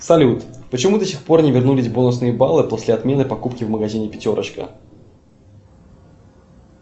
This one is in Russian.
салют почему до сих пор не вернулись бонусные баллы после отмены покупки в магазине пятерочка